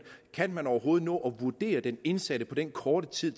kan man overhovedet nå at vurdere den indsatte på den korte tid